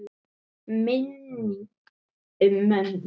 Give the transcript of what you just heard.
Minning um mömmu.